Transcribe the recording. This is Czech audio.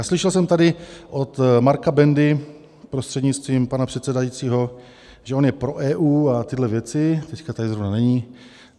A slyšel jsem tady od Marka Bendy, prostřednictvím pana předsedajícího, že on je pro EU a tyhle věci - teď tady zrovna není.